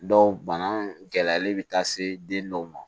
Dɔw bana gɛlɛyalen bɛ taa se den dɔw ma